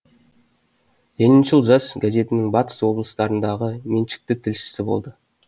лениншіл жас газетінің батыс облыстарындағы меншікті тілшісі болды